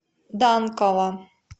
данкова